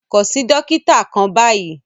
Kàn sí dòkìtà kàn báyì!